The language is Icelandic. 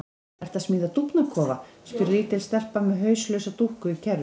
Ertu að smíða dúfnakofa? spyr lítil stelpa með hauslausa dúkku í kerru.